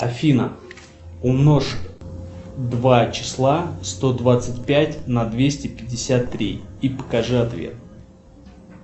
афина умножь два числа сто двадцать пять на двести пятьдесят три и покажи ответ